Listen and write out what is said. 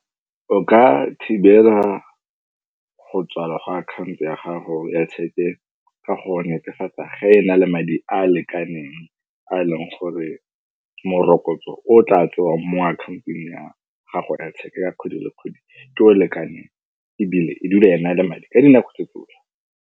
O ka thibela go tswalela ga akhaonto ya gago ya tshepe ka go netefatsa ge e na le madi a a lekaneng a e leng gore morokotso o tla tsengwang mo akhaontong ya gago ya tsheka ka kgwedi le kgwedi ke o lekaneng ebile e dula e na le madi ka dinako tse tsotlhe.